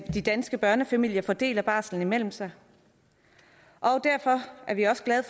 de danske børnefamilier fordeler barslen imellem sig derfor var vi også glade